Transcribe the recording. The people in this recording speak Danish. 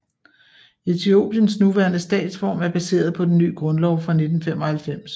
Etiopiens nuværende statsform er baseret på den nye grundlov fra 1995